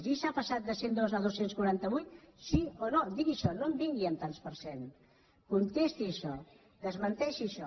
gisa ha passat de cent i dos a dos cents i quaranta vuit sí o no digui això no em vingui amb tants per cent contesti això desmenteixi això